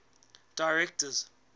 directors